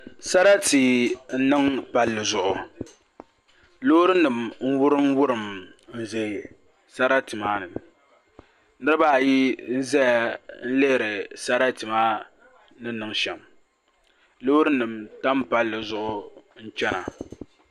Sarati n niŋ palli zuɣu loori nim n wurim wurim n ʒɛ sarati maa ni niraba ayi ʒɛya n lihiri sarati maa ni niŋ shɛm loori nim tam palli zuɣu n chɛna